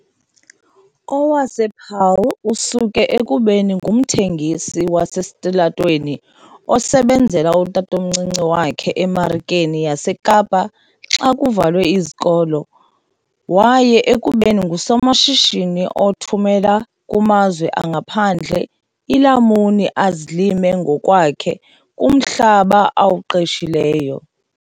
wasePaarl, osuke ekubeni ngumthengisi wasesitalatweni osebenzela utatomncinci wakhe eMarikeni yaseKapa xa kuvalwe izikolo waya ekubeni ngusomashishini othumela kumazwe angaphandle iilamuni azilima ngokwakhe kumhlaba awuqeshileyo.